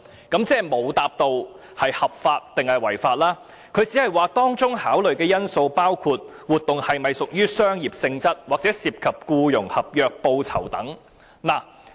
"局長即是沒有回答是合法或違法，只是說"當中考慮的因素包括活動是否屬商業性質或涉及僱傭合約、報酬等。